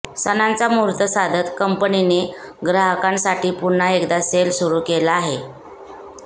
सणांचा मुहूर्त साधत कंपनीने ग्राहकांसाठी पुन्हा एकदा सेल सुरू केला आहे